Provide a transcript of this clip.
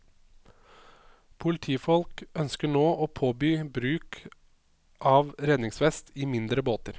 Politifolk ønsker nå å påby bruk av redningsvest i mindre båter.